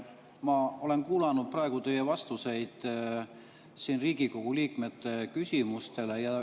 Ma olen kuulanud praegu teie vastuseid Riigikogu liikmete küsimustele.